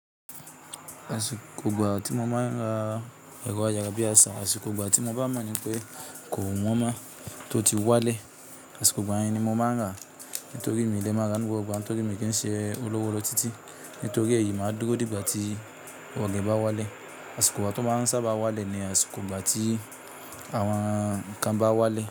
Àsìkò ìgbà tí mo ma ń ra ẹ̀rọ ayára bí àṣá, àsìkò ìgbà tí mo bá mọ̀ ni pé kò wọ́n mọ́, tó ti wálẹ̀. Àsìkò ìgbà yẹn ni mo ma ń rà nítorí mi lè ma rà ní gbogbo ìgbà yẹn, nítorí mi kin ṣe olówó lotiti, nítorí èyí ma dúró di ìgbà tí owó rẹ̀ bá wálẹ̀. Àsìkò ìgbà tó ma ń sa ba wálẹ̀ ni àsìkò gbà tí àwọn ǹkan bá wálẹ̀.